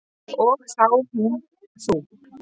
Og þá hún þú.